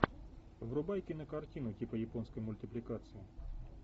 врубай кинокартину типа японской мультипликации